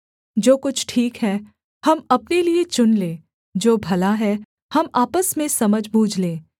जो कुछ ठीक है हम अपने लिये चुन लें जो भला है हम आपस में समझबूझ लें